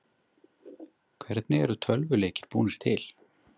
Hvernig eru tölvuleikir búnir til?